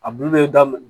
A bulu bɛ daminɛ